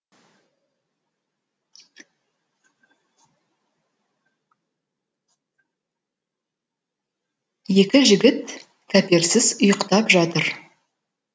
екі жігіт кәперсіз ұйқтап жатыр